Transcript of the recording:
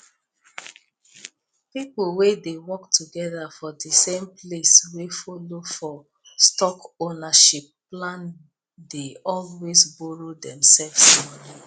people wey dey work together for the same place wey follow for stock ownership plan dey always borrow themselves money